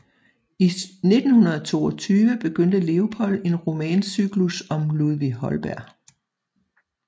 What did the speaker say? I 1922 begyndte Leopold en romancyklus om Ludvig Holberg